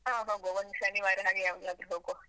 ಹಾ ಹೋಗುವ, ಒಂದು ಶನಿವಾರ ಹಾಗೇ ಯಾವಾಗ್ಲಾದ್ರೂ ಹೋಗುವ.